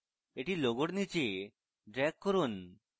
এটি logo এর নীচে drag করুন